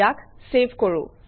ইয়াক চেভ কৰোঁ